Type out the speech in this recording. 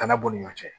Kana b'u ni ɲɔgɔn cɛ